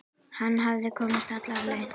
Hann hafði komist alla leið!